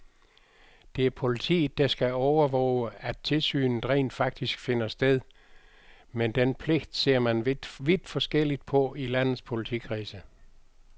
Det er politiet, der skal overvåge, at tilsynet rent faktisk finder sted, men den pligt ser man vidt forskelligt på i landets politikredse.